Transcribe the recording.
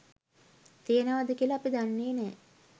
තියෙනවාද කියලා අපි දන්නේ නෑ.